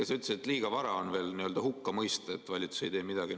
Sa ütlesid, et liiga vara on veel n‑ö hukka mõista, et valitsus ei tee midagi.